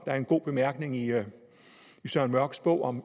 er en god bemærkning i søren mørchs bog om